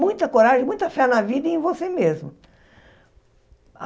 Muita coragem, muita fé na vida e em você mesmo.